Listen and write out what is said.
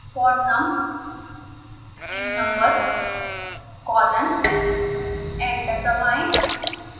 for num in numbers colon enter दबाएं